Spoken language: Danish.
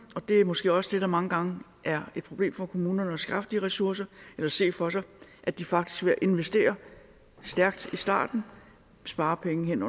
og det er måske også det der mange gange er et problem for kommunerne nemlig at skaffe de ressourcer eller se for sig at de faktisk ved at investere stærkt i starten sparer penge hen